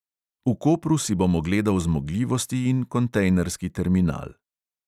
V kopru si bom ogledal zmogljivosti in kontejnerski terminal.